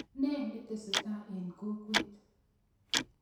Ne netesetai en kokwet